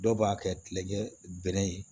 Dɔw b'a kɛ kilekɛ bɛrɛ ye